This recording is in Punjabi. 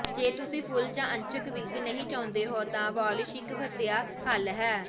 ਜੇ ਤੁਸੀਂ ਫੁੱਲ ਜਾਂ ਅੰਸ਼ਕ ਵਿੱਗ ਨਹੀਂ ਚਾਹੁੰਦੇ ਹੋ ਤਾਂ ਵਾਲਿਸ਼ ਇਕ ਵਧੀਆ ਹੱਲ ਹੈ